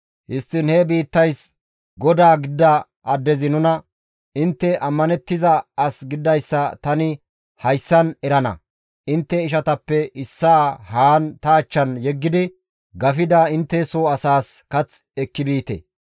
Histtiin he biittays godaa gidida addezi nuna, ‹Intte ammanettiza as gididayssa tani hayssan erana; intte ishatappe issaa haan ta achchan yeggidi gafida intte soo asaas kath ekki biite.